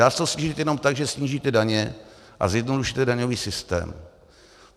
Dá se to snížit jenom tak, že snížíte daně a zjednodušíte daňový systém.